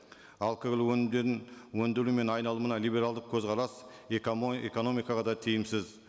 алкоголь өнімдерін өнделуі мен айналымына либералдық көзқарас экономикаға да тиімсіз